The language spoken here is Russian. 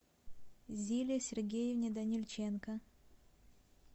зиле сергеевне данильченко